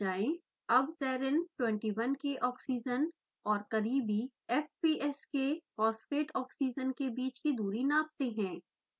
अब serine 21 के oxygen और करीबी fps के phosphate oxygen के बीच की दूरी नापते हैं